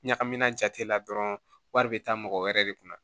Ɲagamina jate la dɔrɔn wari bɛ taa mɔgɔ wɛrɛ de kunna